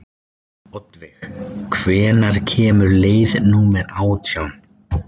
Oddveig, hvenær kemur leið númer átján?